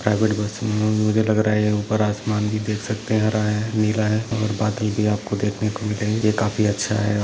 Private bus में मुझे लग रहा है ऊपर आसमान भी देख सकते है हरा है नीला है और बाकी भी आपको देखने को मिले ये काफी अच्छा है।